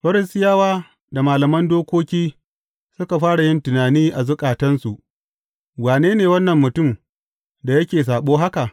Farisiyawa da malaman dokoki suka fara yin tunani a zukatansu, Wane ne wannan mutum da yake saɓo haka?